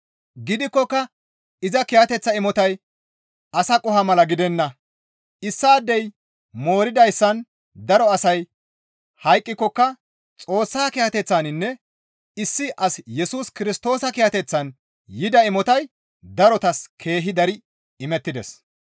Gidikkoka iza kiyateththa imotay asa qoho mala gidenna; issaadey mooridayssan daro asay hayqqikokka Xoossa kiyateththaninne issi as Yesus Kirstoosa kiyateththan yida imotay darotas keehi dari imettides.